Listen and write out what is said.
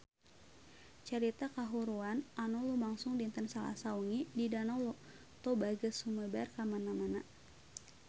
Carita kahuruan anu lumangsung dinten Salasa wengi di Danau Toba geus sumebar kamana-mana